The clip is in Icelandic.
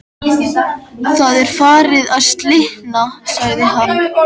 Það er farið að slitna sagði hann.